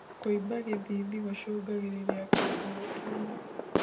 Kuimba githithi gucungagirirĩa kĩongo gutuura